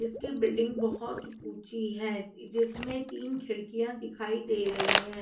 इसकी बिल्डिंग बहुत ऊंची है। जिन में तीन खिड़कियां दिखाई दे रही हैं।